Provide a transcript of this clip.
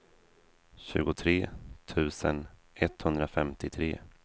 tjugotre tusen etthundrafemtiotre